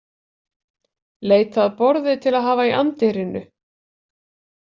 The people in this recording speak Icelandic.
Leita að borði til að hafa í anddyrinu.